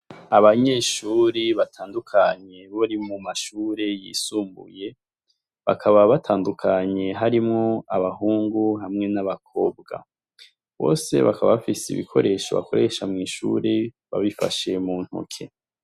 Abanyeshuri batandukanye bari mu mashure yisumbuye, bakaba batandukanye harimwo abahungu n'abakobwa, bose bakaba bafise ibikoresho bakoresha mw'ishure, babifashe mu ntoke.